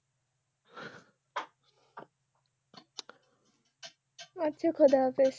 আচ্ছা ক্ষুদাহাফিজ